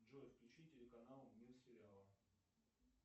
джой включи телеканал мир сериала